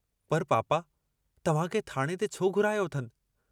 ‘ पर पापा तव्हांखे थाणे ते छो घुरायो अथनि।